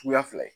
Suguya fila ye